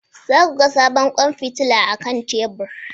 Za ku ga sabon kwan fitila akan tebur